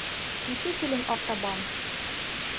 включи фильм автобан